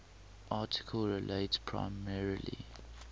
article relates primarily